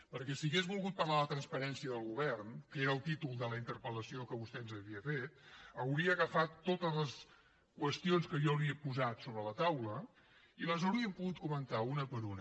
perquè si hagués volgut parlar de la transparència del govern que era el títol de la interpel·lació que vostè ens havia fet hauria agafat totes les qüestions que jo li he posat sobre la taula i les hauríem pogut comentar una per una